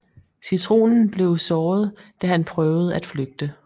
Citronen blev såret da han prøvede at flygte